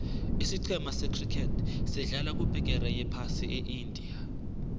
isicema se criket sedlala kubegeri yephasi eindia